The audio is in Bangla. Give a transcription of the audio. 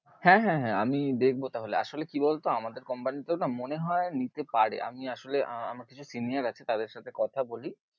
হ্যাঁ হ্যাঁ হ্যাঁ আমি দেখবো তাহলে, আসোলে কি বল তো আমাদের company তেও না মনেহয়ে নিতে পারে, আমি আসলে আমার কিছু senior আছে, তাদের সাথে কথা বলি।